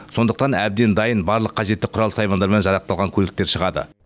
сондықтан әбден дайын барлық қажетті құрал саймандармен жарақталған көліктер шығады